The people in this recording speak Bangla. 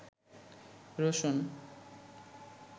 রসুন